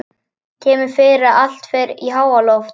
Kemur fyrir að allt fer í háaloft.